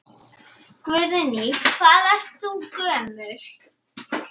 Guðný: Hvað ert þú gömul?